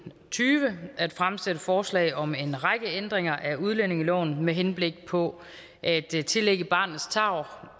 tyve at fremsætte forslag om en række ændringer af udlændingeloven med henblik på at tillægge barnets tarv